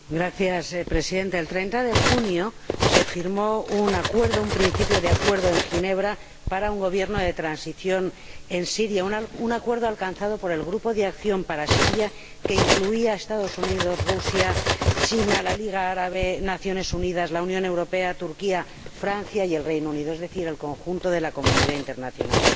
Señor Presidente, el 30 de junio de 2012 se firmó un principio de acuerdo en Ginebra para un Gobierno de transición en Siria, un acuerdo alcanzado por el Grupo de Acción para Siria, que incluía a los Estados Unidos, Rusia, China, la Liga Árabe, las Naciones Unidas, la Unión Europea, Turquía, Francia y el Reino Unido, es decir, el conjunto de la comunidad internacional.